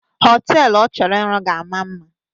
Họtelu ọ chọrọ ịrụ ga-ama mma